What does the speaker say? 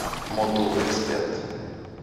мотул эксперт